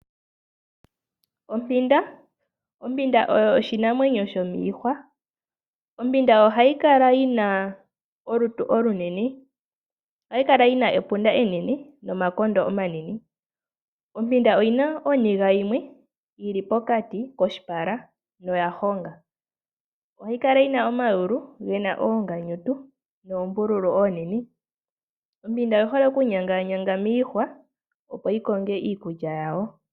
Ompinda, Ompinda oyo oshinamwenyo oshinamwenyo shomiihwa. Ompinda ohayi kala yina olutu olunene, ohayi kala yina epunda enene nomakondo omanene. Ompinda oyina oniga yimwe yili pokati koshipala noya honga. Ohayi Kala yi. Ompinda oyi holenokunyangaanyanga miihwa opo yi konge iikulya yawo.